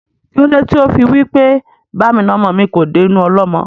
Kílódé tí ó fí wí pé "Ba mi na ọmọ mi kò dé inú ọlọ́mọ?"